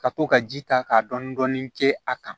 Ka to ka ji ta ka dɔɔni dɔɔni kɛ a kan